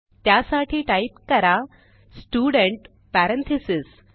त्यासाठी टाईप करा student parentheses